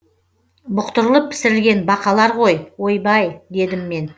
бұқтырылып пісірілген бақалар ғой ойбай дедім мен